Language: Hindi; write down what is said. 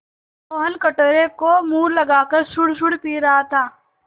मोहन कटोरे को मुँह लगाकर सुड़सुड़ पी रहा था